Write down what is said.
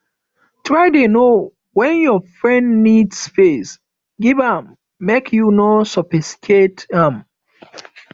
try dey know wen your friend need space give am make you no suffocate am